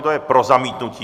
Kdo je pro zamítnutí?